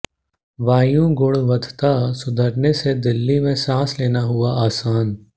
वायु गुणवत्ता सुधरने से दिल्ली में सांस लेना हुआ आसान